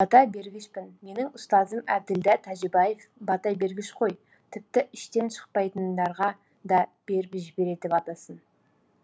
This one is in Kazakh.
бата бергішпін менің ұстазым әбділда тәжібаев бата бергіш қой тіпті іштен шықпайтындарға да беріп жібереді батасын